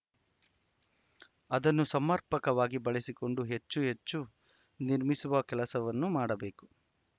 ಅದನ್ನು ಸಮರ್ಪಕವಾಗಿ ಬಳಸಿಕೊಂಡು ಹೆಚ್ಚು ಹೆಚ್ಚು ನಿರ್ಮಿಸುವ ಕೆಲಸವನ್ನು ಮಾಡಬೇಕು